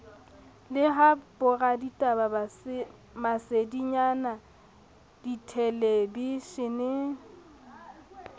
le ha boraditaba masedinyana dithelebishene